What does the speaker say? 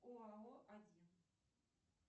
оао один